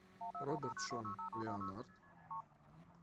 роберт шон леонард